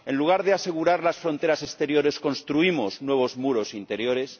En lugar de asegurar las fronteras exteriores, construimos nuevos muros interiores.